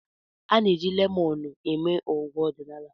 A na-eji lemọnụ eme ọgwụ ọdịnala.